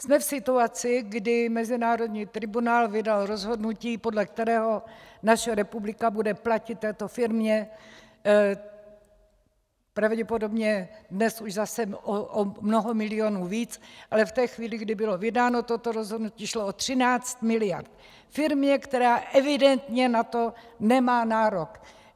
Jsme v situaci, kdy mezinárodní tribunál vydal rozhodnutí, podle kterého naše republika bude platit této firmě pravděpodobně dnes již zase o mnoho milionů víc, ale v té chvíli, kdy bylo vydáno toto rozhodnutí, šlo o 13 miliard firmě, která evidentně na to nemá nárok.